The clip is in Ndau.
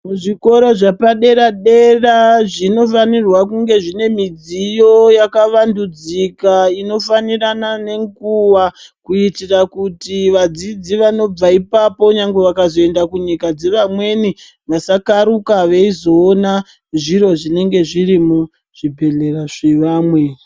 Zvikoro zvapadera-dera zvofanirwa kunge zvine midziyo yakavandudzika inofanirana nenguva kuitira kuti vadzidzi vanobva ipapo nyangwe vakazoenda kunyika dzevamweni vasakaruka veizoona zviro zvinenge zviri muzvibhehlera zvevamwe.